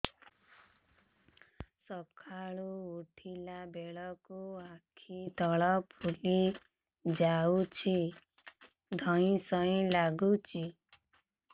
ସକାଳେ ଉଠିଲା ବେଳକୁ ଆଖି ତଳ ଫୁଲି ଯାଉଛି ଧଇଁ ସଇଁ ଲାଗୁଚି